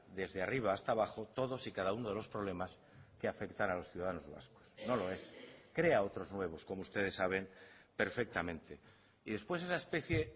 desde arriba hasta abajo todos y cada uno de los problemas que afectan a los ciudadanos vascos no lo es crea otros nuevos como ustedes saben perfectamente y después esa especie